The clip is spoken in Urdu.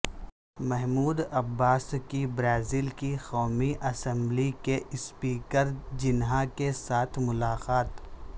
محمود عباس کی برازیل کی قومی اسمبلی کے اسپیکر جنہا کیساتھ ملاقات